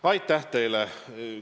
Aitäh teile!